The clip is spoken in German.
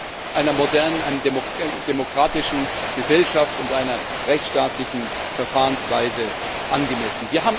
Das ist einer modernen, demokratischen Gesellschaft und einer rechtsstaatlichen Verfahrensweise angemessen.